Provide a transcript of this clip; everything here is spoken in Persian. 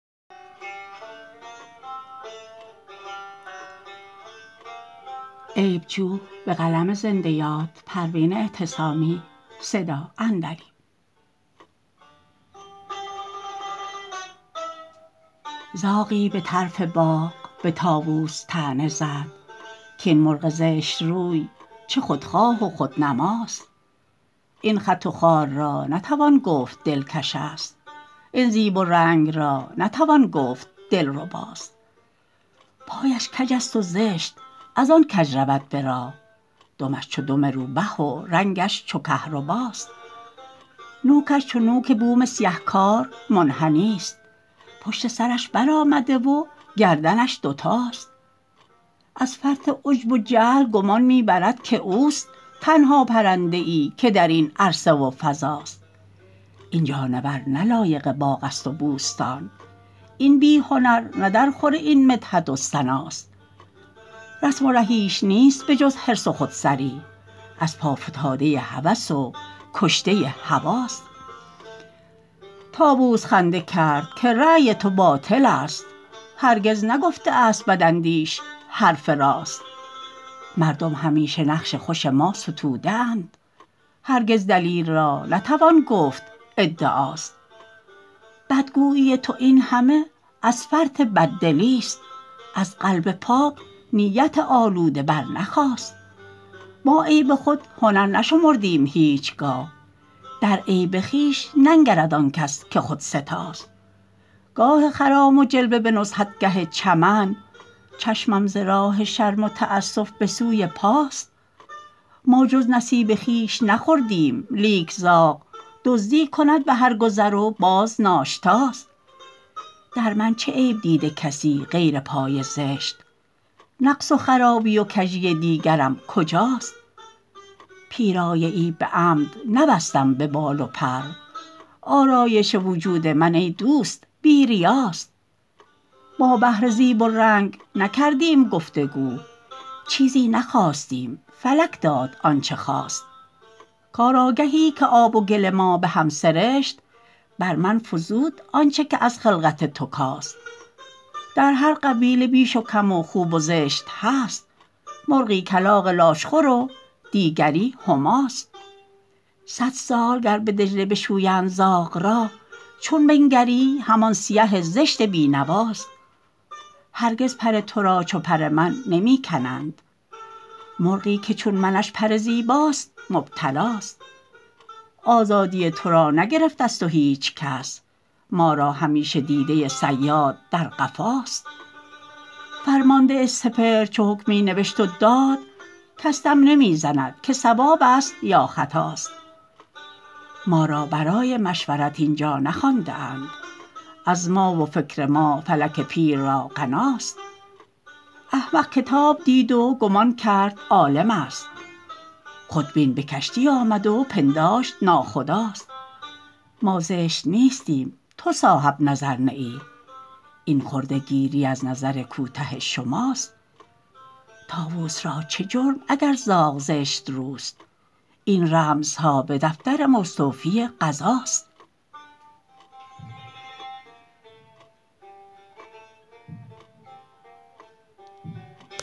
زاغی به طرف باغ به طاووس طعنه زد کین مرغ زشت روی چه خودخواه و خودنماست این خط و خال را نتوان گفت دلکش است این زیب و رنگ را نتوان گفت دلرباست پایش کج است و زشت از آن کج رود به راه دمش چو دم روبه و رنگش چو کهرباست نوکش چو نوک بوم سیه کار منحنی ست پشت سرش برآمده و گردنش دوتاست از فرط عجب و جهل گمان می برد که اوست تنها پرنده ای که در این عرصه و فضاست این جانور نه لایق باغ است و بوستان این بی هنر نه در خور این مدحت و ثناست رسم و رهیش نیست به جز حرص و خودسری از پا فتاده هوس و کشته هوی ست طاووس خنده کرد که رای تو باطل است هرگز نگفته است بداندیش حرف راست مردم همیشه نقش خوش ما ستوده اند هرگز دلیل را نتوان گفت ادعاست بدگویی تو این همه از فرط بددلی است از قلب پاک نیت آلوده برنخاست ما عیب خود هنر نشمردیم هیچگاه در عیب خویش ننگرد آنکس که خودستاست گاه خرام و جلوه به نزهتگه چمن چشمم ز راه شرم و تاسف بسوی پاست ما جز نصیب خویش نخوردیم لیک زاغ دزدی کند به هر گذر و باز ناشتاست در من چه عیب دیده کسی غیر پای زشت نقص و خرابی و کژی دیگرم کجاست پیرایه ای به عمد نبستم به بال و پر آرایش وجود من ای دوست بی ریاست ما بهر زیب و رنگ نکردیم گفتگو چیزی نخواستیم فلک داد آنچه خواست کارآگهی که آب و گل ما به هم سرشت بر من فزود آنچه که از خلقت تو کاست در هر قبیله بیش و کم و خوب و زشت هست مرغی کلاغ لاشخور و دیگری هماست صد سال گر به دجله بشویند زاغ را چون بنگری همان سیه زشت بینواست هرگز پر تو را چو پر من نمی کنند مرغی که چون منش پر زیباست مبتلاست آزادی تو را نگرفت از تو هیچکس ما را همیشه دیده صیاد در قفاست فرمانده سپهر چو حکمی نوشت و داد کس دم نمی زند که صوابست یا خطاست ما را برای مشورت اینجا نخوانده اند از ما و فکر ما فلک پیر را غناست احمق کتاب دید و گمان کرد عالم است خودبین به کشتی آمد و پنداشت ناخداست ما زشت نیستیم تو صاحب نظر نه ای این خوردگیری از نظر کوته شماست طاووس را چه جرم اگر زاغ زشت روست این رمزها به دفتر مستوفی قضاست